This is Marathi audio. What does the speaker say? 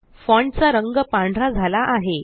फ़ॉन्ट चा रंग पांढरा झाला आहे